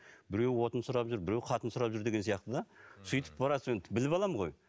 біреуі отын сұрап жүр біреуі қатын сұрап жүр деген сияқты да сөйтіп біліп аламын ғой